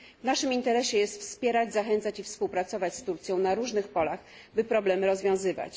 W naszym interesie jest wspierać, zachęcać i współpracować z Turcją na różnych polach, by problemy rozwiązywać.